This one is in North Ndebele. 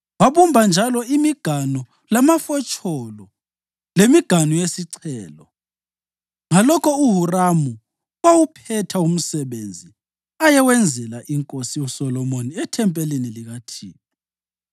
Wabumba njalo imiganu lamafotsholo lemiganu yesichelo. Ngalokho uHuramu wawuphetha umsebenzi ayewenzela inkosi uSolomoni ethempelini likaThixo: